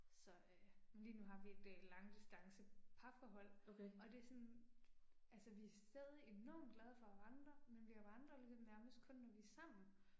Så øh. Men lige nu har vi et øh langdistance parforhold. Og det er sådan. Altså vi er stadig enormt glade for at vandre, men vi vandrer ligesom nærmest kun når vi er sammen